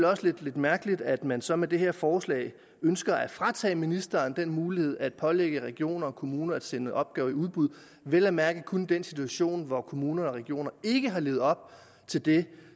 også lidt mærkeligt at man så med det her forslag ønsker at fratage ministeren den mulighed at pålægge regioner og kommuner at sende opgaver i udbud vel at mærke kun i den situation hvor kommuner og regioner ikke har levet op til det